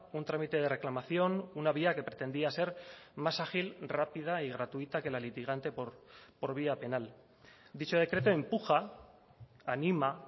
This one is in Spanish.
un trámite de reclamación una vía que pretendía ser más ágil rápida y gratuita que la litigante por vía penal dicho decreto empuja anima